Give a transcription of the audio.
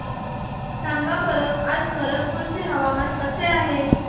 सांगा बरं आज खरगपूर चे हवामान कसे आहे